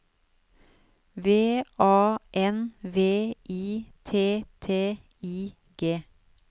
V A N V I T T I G